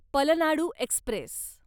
Palnadu Express